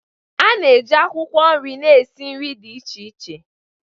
A na-eji akwụkwọ nri na-esi nri dị iche iche.